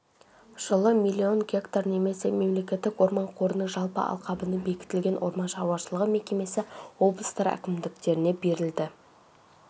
жылы миллион гектар немесе мемлекеттік орман қорының жалпы алқабының бекітілген орман шаруашылығы мекемесі облыстар әкімдіктеріне берілді